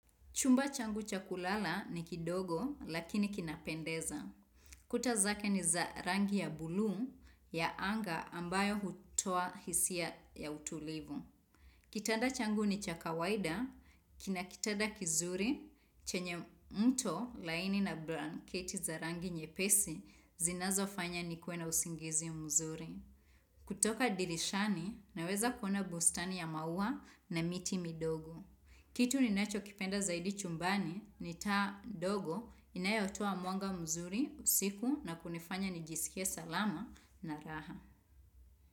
Chumba changu cha kulala ni kidogo lakini kinapendeza. Kuta zake ni za rangi ya buluu ya anga ambayo hutoa hisia ya utulivu. Kitanda changu ni cha kawaida, kina kitanda kizuri chenye mto laini na blanketi za rangi nyepesi zinazo fanya nikuwe na usingizi mzuri. Kutoka dirishani naweza kuona bustani ya maua na miti midogo. Kitu ninachokipenda zaidi chumbani ni taa ndogo inayotoa mwanga mzuri usiku na kunifanya nijisikie salama na raha.